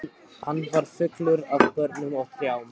Hann var fullur af börnum og trjám.